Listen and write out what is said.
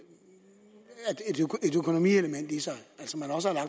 økonomielement i sig